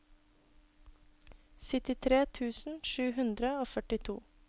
syttitre tusen sju hundre og førtito